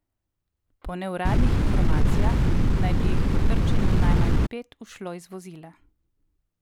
Po neuradnih informacijah naj bi jih po trčenju najmanj pet ušlo iz vozila.